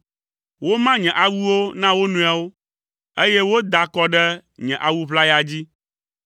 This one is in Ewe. Woma nye awuwo na wo nɔewo, eye woda akɔ ɖe nye awu ʋlaya dzi.